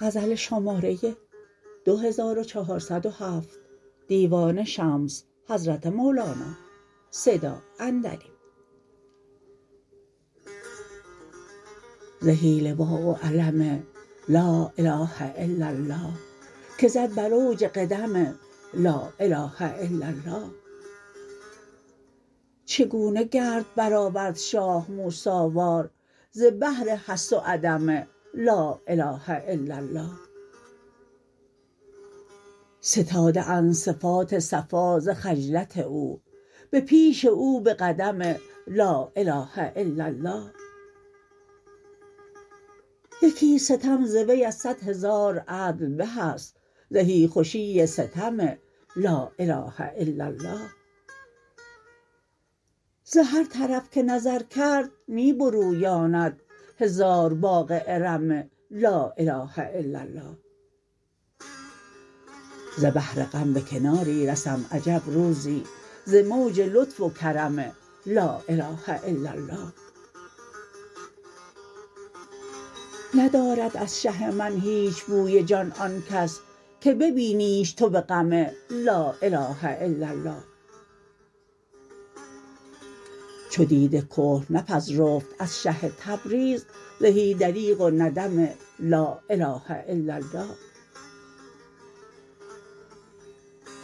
زهی لواء و علم لا اله الا الله که زد بر اوج قدم لا اله الا الله چگونه گرد برآورد شاه موسی وار ز بحر هست و عدم لا اله الا الله ستاده اند صفات صفا ز خجلت او به پیش او به قدم لا اله الا الله یکی ستم ز وی از صد هزار عدل به است زهی خوشی ستم لا اله الا الله ز هر طرف که نظر کرد می برویاند هزار باغ ارم لا اله الا الله ز بحر غم به کناری رسم عجب روزی ز موج لطف و کرم لا اله الا الله ندارد از شه من هیچ بوی جان آن کس که ببینیش تو به غم لا اله الا الله چو دیده کحل نپذرفت از شه تبریز زهی دریغ و ندم لا اله الا الله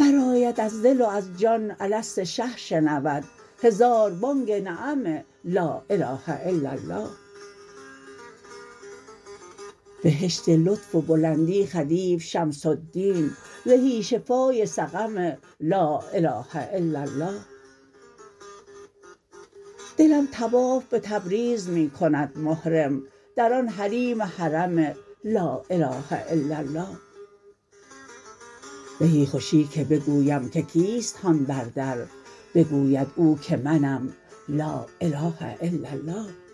برآید از دل و از جان الست شه شنود هزار بانگ نعم لا اله الا الله بهشت لطف و بلندی خدیو شمس الدین زهی شفای سقم لا اله الا الله دلم طواف به تبریز می کند محرم در آن حریم حرم لا اله الا الله زهی خوشی که بگویم که کیست هان بر در بگوید او که منم لا اله الا الله